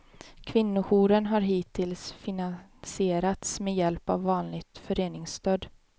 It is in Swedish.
Kvinnojouren har hittills finansierats med hjälp av vanligt föreningsstöd.